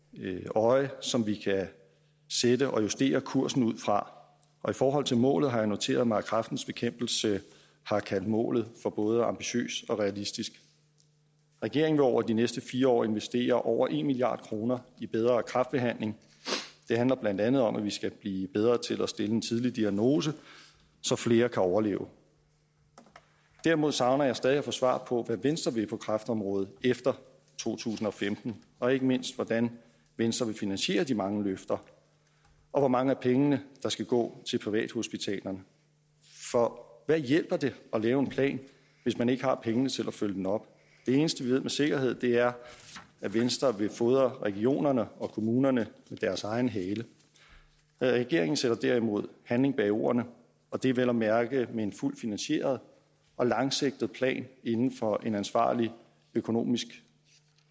øje som vi kan sætte og justere kursen ud fra og i forhold til målet har jeg noteret mig at kræftens bekæmpelse har kaldt målet for både ambitiøst og realistisk regeringen vil over de næste fire år investere over en milliard kroner i bedre kræftbehandling det handler blandt andet om at vi skal blive bedre til at stille en tidlig diagnose så flere kan overleve derimod savner jeg stadig at få svar på hvad venstre vil på kræftområdet efter to tusind og femten og ikke mindst hvordan venstre vil finansiere de mange løfter og hvor mange af pengene der skal gå til privathospitalerne for hvad hjælper det at lave en plan hvis man ikke har pengene til at følge den op det eneste vi ved med sikkerhed er at venstre vil fodre regionerne og kommunerne med deres egen hale regeringen sætter derimod handling bag ordene og det vel at mærke med en fuldt finansieret og langsigtet plan inden for en ansvarlig økonomisk